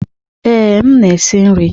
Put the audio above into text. Ee, m na-esi nri.